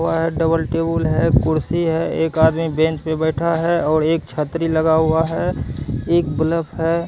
वह double table है कुर्सी है एक आदमी बेंच पे बैठा है और एक छतरी लगा हुआ है एक बल्ब है।